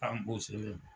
An